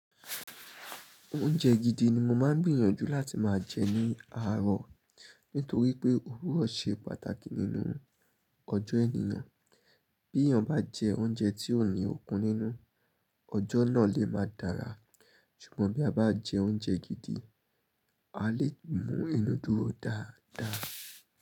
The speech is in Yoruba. Oúnjẹ gidi ni mo máa ń gbiyànjú láti máa jẹ ní àárọ̀. Nítorí pé òwúrọ̀ ṣe pàtàkì nínú ọjọ́ ènìyàn. Bí èèyàn bá jẹ oúnjẹ tí ò ní okun nínú, ọjọ́ náà lè máa dára. Ṣùgbọ́n bí a bá jẹ oúnjẹ gidi, a lè mú inú dúró dáadáa.